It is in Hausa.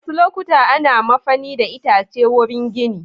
Wasu lokuta ana mafani da itace wurin gini.